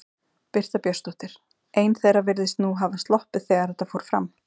Birta Björnsdóttir: Ein þeirra virðist nú hafa sloppið þegar að þetta fór fram?